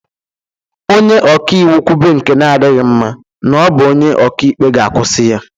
Onye ọka iwu kwube nke na-adịghị mma n'ọ bụ onye ọka ikpe ga-akwụsị ya.